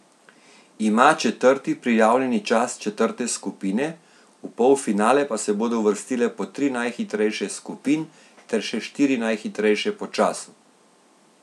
Ima četrti prijavljeni čas četrte skupine, v polfinale pa se bodo uvrstile po tri najhitrejše skupin ter še štiri najhitrejše po času.